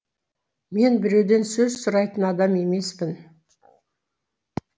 мен біреуден сөз сұрайтын адам емеспін